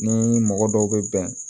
Ni mɔgɔ dɔw bɛ bɛn